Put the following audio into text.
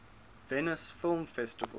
venice film festival